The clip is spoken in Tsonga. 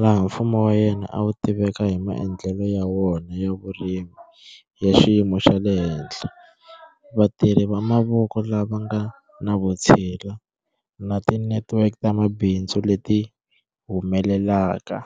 laha mfumo wa yena a wu tiveka hi maendlelo ya wona ya vurimi ya xiyimo xa le henhla, vatirhi va mavoko lava nga na vutshila, na ti network ta mabindzu leti humelelaka.